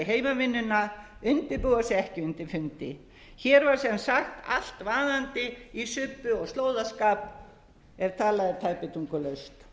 heimavinnuna undirbúa sig ekki undir fundi hér var sem sagt allt vaðandi í subbi og slóðaskap ef talað er tæpitungulaust